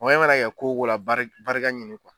mana kɛ ko o ko la bari barika ɲini